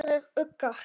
Aðrir uggar